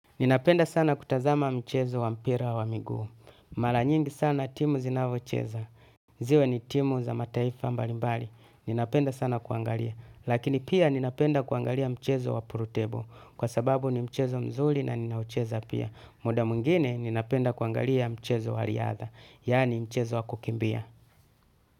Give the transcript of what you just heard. Ninapenda sana kutazama mchezo wa mpira wa miguu. Mara nyingi sana timu zinavo cheza. Ziwe ni timu za mataifa mbalimbali. Ninapenda sana kuangalia. Lakini pia ninapenda kuangalia mchezo wa puru tebo. Kwa sababu ni mchezo mzuli na nina ucheza pia. Muda mwingine ninapenda kuangalia mchezo wa riadha. Yani mchezo wa kukimbia.